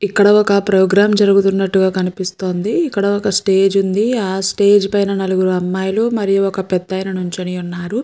ఇక్కడ ఒక ప్రోగ్రామ్ జరుగుతున్నట్టుగా కనిపిస్తోంది ఇక్కడ ఒక స్టేజ్ ఉంది ఆ స్టేజ్ పైన నలుగురు అమ్మాయిలు మరియు ఒక పెదాయన నించుని ఉన్నారు.